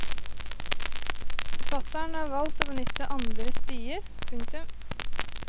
Forfatteren har valgt å benytte andre stier. punktum